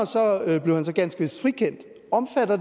blev han så ganske vist frikendt omfatter